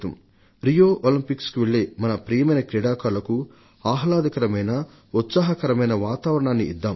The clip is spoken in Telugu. రియో ఒలింపిక్స్కు వెళ్లే మన ప్రియమైన క్రీడాకారులకు ఆహ్లాదకరమైన ఉత్సాహకరమైన వాతావరణాన్ని ఇద్దాం